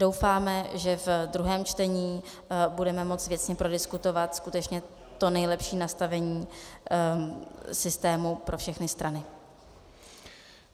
Doufáme, že ve druhém čtení budeme moci věcně prodiskutovat skutečně to nejlepší nastavení systému pro všechny strany.